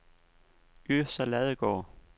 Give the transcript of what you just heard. Yrsa Ladegaard